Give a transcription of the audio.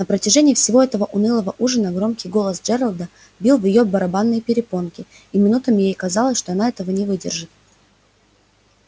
на протяжении всего этого унылого ужина громкий голос джералда бил в её барабанные перепонки и минутами ей казалось что она этого не выдержит